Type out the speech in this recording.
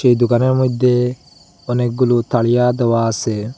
এই দুকানের মইধ্যে অনেকগুলো তাড়িয়া দেওয়া আসে ।